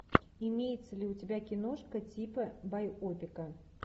имеется ли у тебя киношка типа байопика